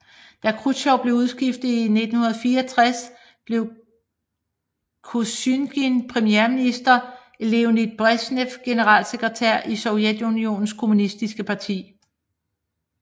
Da Khrusjtjov blev udskiftet i 1964 blev Kosygin premierminister og Leonid Bresjnev generalsekretær i Sovjetunionens kommunistiske parti